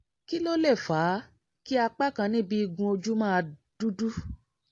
kí ló lè fà á kí apá kan níbi igun ojú máa dúdú?